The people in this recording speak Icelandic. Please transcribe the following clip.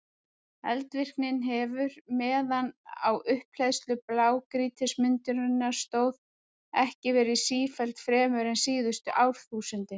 Eldvirknin hefur, meðan á upphleðslu blágrýtismyndunarinnar stóð, ekki verið sífelld fremur en síðustu árþúsundin.